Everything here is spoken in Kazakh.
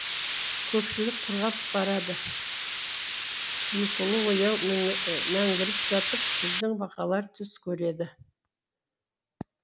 көлшік құрғап барады ұйқылы ояу мәңгіріп жатып біздің бақалар түс көреді